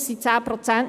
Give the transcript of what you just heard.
Es sind 10 Prozent;